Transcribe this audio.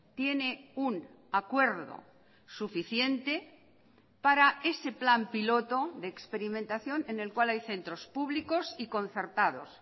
tiene un acuerdo suficiente para ese plan piloto de experimentación en el cual hay centros públicos y concertados